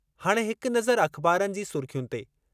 हाणे हिक नज़र अख़बारनि जी सुर्ख़ियुनि ते..